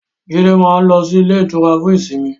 Jídé máa ń lọ sí ilé-ìtura fún ìsimi.